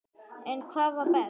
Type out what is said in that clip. En hvað var best?